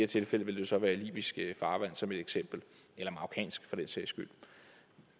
tilfælde ville det så være libysk farvand som et eksempel eller marokkansk for den sags skyld